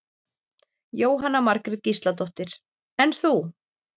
Jóhanna Margrét Gísladóttir: En þú?